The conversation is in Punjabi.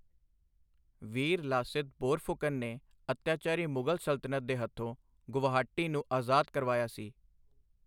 ਵੀਰ ਲਾਸਿਤ ਬੋਰਫੁਕਨ ਨੇ ਅੱਤਿਆਚਾਰੀ ਮੁਗ਼ਲ ਸਲਤਨਤ ਦੇ ਹੱਥੋਂ ਗੁਵਾਹਾਟੀ ਨੂੰ ਆਜ਼ਾਦ ਕਰਵਾਇਆ ਸੀ।